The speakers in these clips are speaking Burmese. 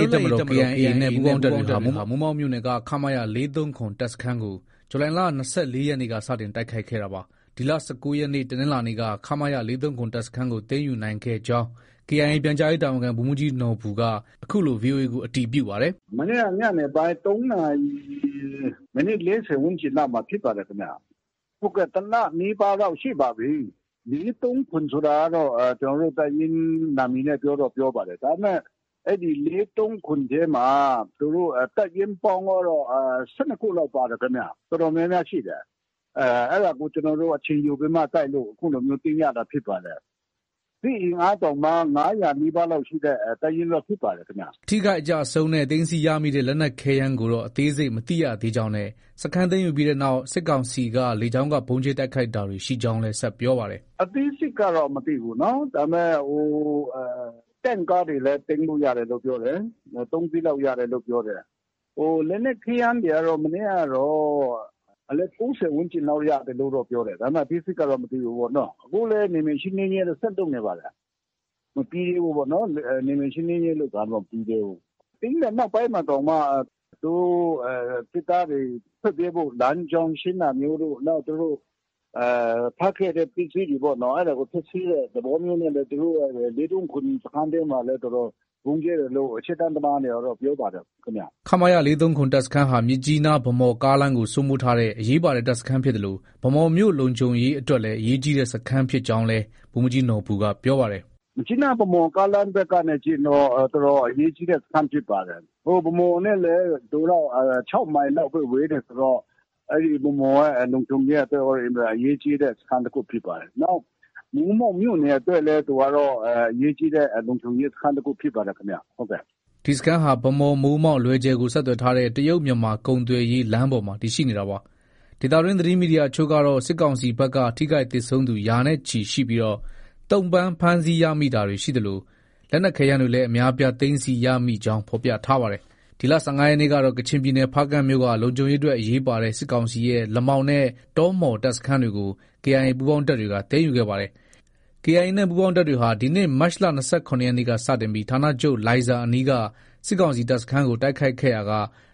ရေးတပ်မတော် KIA နဲ့ ပူးပေါင်းတပ်တွေဟာ မိုးမောက်မြို့နယ်က ခမရ (၄၃၇) တပ်စခန်းကို ဇူလိုင်လ ၂၄ရက်နေ့က စတင်တိုက်ခိုက်ခဲ့တာပါ။ ဒီလ ၁၉ရက်နေ့ တနင်္လာနေ့က ခမရ (၄၃၇) တပ်စခန်းကို သိမ်းယူနိုင်ခဲ့ကြောင်း KIA ပြန်ကြားရေး တာဝန်ခံ ဗိုလ်မှုးကြီးနော်ဘူက အခုလို ဗွီအိုအေကို အတည်ပြု ပါတယ်။ “ မနေ့က ညနေပိုင်း ၃နာရီ မိနစ် ၄၀လောက်မှာ ဖြစ်ပါတယ်ခင်ဗျ။ တလနီးပါးလောက်ရှိပါပြီ။ ၄၃၇ ဆိုတာကတော့ တပ်ရင်းနံမည်နဲ့ ပြောတော့ ပြောပါတယ်။ ဒါပေမဲ့ အဲဒီ ၄၃၇ ထဲမှာ သူတို့ တပ်ရင်းပေါင်းကတော့ ၁၂ခုလောက် ပါတယ်ခင်ဗျ။ တော်တော်များများရှိတယ်။ အဲဒါကို ကျနော်တို့ အချိန်ယူပြီးမှ တိုက်လို့ အခုလို သိမ်းရတာဖြစ်ပါတယ်။ စစ်အင်အားတောင်မှ ၅၀၀ နီးပါးလောက်ရှိတဲ့ တပ်ရင်းဖြစ်ပါတယ်ခင်ဗျ။ ” အထိအခိုက်အကျအဆုံးနဲ့ သိမ်းဆည်းရမိတဲ့ လက်နက်ခဲယမ်းကိုတော့ အသေးစိတ်မသိရသေးကြောင်း နဲ့ စခန်းသိမ်းယူပြီးနောက် စစ်ကောင်စီဘက်က လေကြောင်းက ဗုံးကြဲတိုက်ခိုက်တာတွေ ရှိကြောင်းလည်း ဆက်ပြောပါတယ်။ “ အသေးစိတ်ကတော့ မသိဘူးနော်။ ဒါပေမဲ့ တင့်ကားတွေလည်း သိမ်းလို့ ရတယ်လို့ ပြောတယ်။ ၃စီးလောက် ရတယ်လို့ ပြောတယ်။ လက်နက်ခဲယမ်းတွေကတော့ မနေ့ကတော့ အလက် ၃၀ ဝန်းကျင်လောက် ရတယ်လို့ပြောတယ်။ ဒါပေမဲ့ အသေးစိတ်ကတော့ မသိဘူးပေါ့နော။ အခုလည်း နယ်မြေရှင်းလင်းရေးတွေ ဆက်လုပ်နေပါတယ်။ မပြီးသေးဘူးပေါ့။ နယ်မြေရှင်းလင်းရေးလုပ်တာကတော့ မပြီးသေးဘူး။ သိမ်းတဲ့နောက်ပိုင်းမှာတောင်မှ သူတို့ စစ်သားတွေ ထွက်ပြေးဖု့ိ လမ်းကြောင်း ရှင်းတာမျိုးတို့၊ နောက် သူတို့ ထားခဲ့တဲ့ ပစ္စည်းတွေကို ဖျက်ဆီးတဲ့သဘောမျိုးနဲ့လည်း သူတို့ ၄၃၇ စခန်းထဲမှာလည်း တော်တော် ဗုံးကြဲတယ်လို့ ရှေ့တန်းသမားတွေက ပြောပါတယ်။” ခမရ (၄၃၇) တပ်စခန်းဟာ မြစ်ကြီးနား -ဗန်းမော်ကားလမ်းကို စိုးမိုးထားတဲ့ အရေးပါတဲ့ တပ်စခန်းဖြစ်သလို ဗန်းမော်မြို့ လုံခြုံရေးအတွက်လည်း အရေးကြီးတဲ့ စခန်းဖြစ်ကြောင်းလည်း ဗိုလ်မှုးကြီးနော်ဘူက ပြောပါတယ်။ “ မြစ်ကြီးနား- ဗန်းမော်ကားလမ်းဘက်က ကြည့်ရင်တော့ တော်တော် အရေးကြီးတဲ့ စခန်းဖြစ်ပါတယ်။ ဗန်းမော်နဲ့လည်း သူက ၆မိုင်လောက်ပဲ ဝေးတယ်ဆိုတော့ ဗန်းမော်ရဲ့ လုံခြုံရေးအတွက်လည်း အင်မတန် အရေးကြီးတဲ့ စခန်းတခုဖြစ်ပါတယ်။ နောက်မိုးမောက်မြို့နယ်အတွက်လည်း သူကတော့ အရေးကြီးတဲ့ လုံခြုံရေးစခန်းတခုဖြစ်ပါတယ်ခင်ဗျ။” ဒီစခန်းဟာ ဗန်းမော်- မိုးမောက်- လွယ်ဂျယ်ကို ဆက်သွယ်ထားတဲ့ တရုတ်-မြန်မာ ကုန်သွယ်ရေးလမ်းပေါ်မှာ တည်ရှိနေတာပါ။ ဒေသတွင်း သတင်းမီဒီယာအချို့ကတော့ စစ်ကောင်စီဘက်က ထိခိုက်သေဆုံးသူ ရာနဲ့ချီရှိပြီး သုံ့ပန်းဖမ်းဆီးရ မိတာတွေရှိသလို လက်နက်ခဲယမ်းတွေလည်း အများအပြား သိမ်းဆည်းရမိကြောင်း ဖော်ပြထားပါတယ်။ ဒီလ ၁၅ရက်နေ့ကတော့ ကချင်ပြည်နယ် ဖားကန့်မြို့နယ်က လုံခြုံရေးအတွက် အရေးပါတဲ့ စစ်ကောင်စီရဲ့ လမောင်နဲ့ တောမှော်တပ်စခန်းတွေကို KIA ပူးပေါင်းတပ်တွေက သိမ်းယူခဲ့ပါတယ်။ KIA နဲ့ ပူးပေါင်းတပ်တွေဟာ ဒီနှစ် မတ်လ ၂၇ ရက်နေ့က စတင်ပြီး ဌာနချုပ်လိုင်ဇာအနီးက စစ်ကောင်စီတပ်စခန်းကို တိုက်ခိုက်ခဲ့ရာက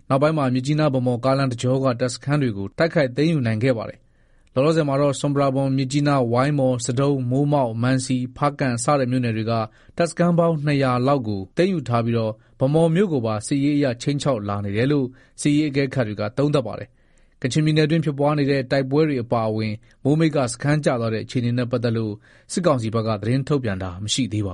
နောက်ပိုင်းမှာ မြစ်ကြီးနား- ဗန်းမော် ကားလမ်းတကြောက တပ်စခန်းတွေကို တိုက်ခိုက်သိမ်းယူနိုင်ခဲ့ပါတယ်။ လောလောဆယ်မှာတော့ ဆွမ်ပရာဘွမ်၊ မြစ်ကြီးနား၊ ဝိုင်းမော်၊ ဆဒုံး၊ ၊ မိုးမောက်၊ မံစီ၊ ဖားကန့် စတဲ့မြို့နယ်တွေက တပ်စခန်းပေါင်း ၂၀၀ခန့်လောက်ကို သိမ်းယူထားပြီး ဗန်းမော်မြို့ကိုပါ စစ်ရေးအရ ခြိမ်းခြောက်လာနေတယ်လို့ စစ်ရေးအကဲခတ်တွေက သုံးသပ်ပါတယ်။ ကချင်ပြည်နယ်အတွင်းဖြစ်ပွားတဲ့ တိုက်ပွဲတွေအပါအ၀င် မိုးမိတ်က စခန်းကျသွားတဲ့ အခြေအနေနဲ့ ပတ်သက်လို့ စစ်ကောင်စီဘက်ကသတင်းထုတ်ပြန်တာ မရှိသေးပါ